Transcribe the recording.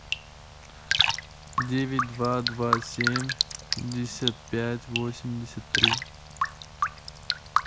девять два два семьдесят пять восемьдесят три